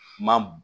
Ma b